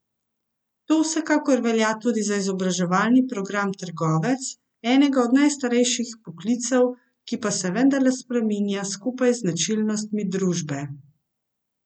To vsekakor velja tudi za izobraževalni program Trgovec, enega od najstarejših poklicev, ki pa se vendarle spreminja skupaj z značilnostmi družbe.